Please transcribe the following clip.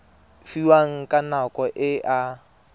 fiwang ka nako e a